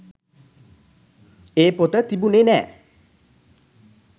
ඒ පොත තිබුණේ නෑ.